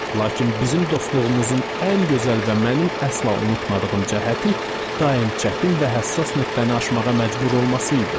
Lakin bizim dostluğumuzun ən gözəl və mənim əsla unutmadığım cəhəti daim çətin və həssas nöqtəni aşmağa məcbur olması idi.